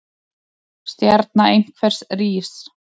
Stjarna einhvers rís